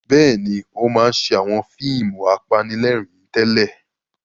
Bẹ́ẹ̀ni, ó máa ń ṣe àwọn fíìmù apanilẹ́rìn-ín tẹ́lẹ̀.